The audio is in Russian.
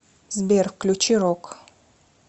сбер включи рок